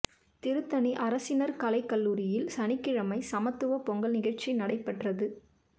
திருத்தணி அரசினா் கலைக் கல்லூரியில் சனிக்கிழமை சமத்துவப் பொங்கல் நிகழ்ச்சி நடைபெற்றது